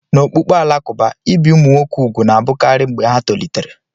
N'okpukpe Alakụba, ibi ụmụ nwoke úgwù na-abụkarị mgbe ha tolitere.